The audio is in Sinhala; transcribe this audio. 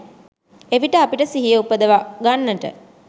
එවිට අපිට සිහිය උපද්දවගන්නට